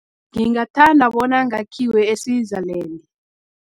Ngingathanda bona ngakhiwe e-Switzerland.